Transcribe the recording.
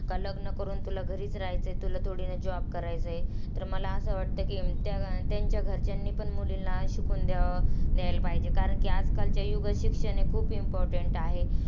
का लग्न करून तुला घरीच राहायचंय. तुला थोडीना job करायचाय? तर मला असं वाटतं की, त्या त्यांच्या घरच्यांनी पण मुलींना शिकून द्याव, द्यायला पाहिजे कारण की आजकालच्या युगात शिक्षण हे खूप important आहे.